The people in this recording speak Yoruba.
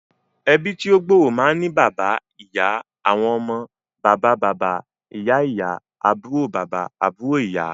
Ẹbí tí ó gbòòrò máa ń ní bàbà, ìyá, àwọn ọmọ, bàbà - baba ìyá-ìyá, àbúrò bàbà, àbúrò ìyá